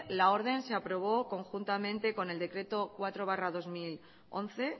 la orden se aprobó conjuntamente con el decreto cuatro barra dos mil once